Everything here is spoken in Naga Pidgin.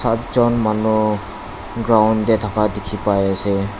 ekjon manu ground tae thaka dikhipaiase.